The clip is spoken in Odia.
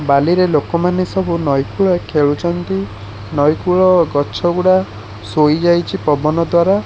ବାଲିରେ ଲୋକମାନେ ସବୁ ନଇ କୂଳ ଖେଳୁଛନ୍ତି ନଇ କୂଳ ଅ ଗଛଗୁଡା ଶୋଇଯାଇଛି ପବନ ଦ୍ଵାରା।